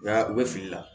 Nka u bɛ fili la